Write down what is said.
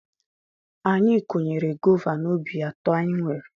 Anyị kụnyere gova n'ubi atọ anyị nwere.